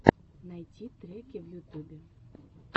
найти треки в ютубе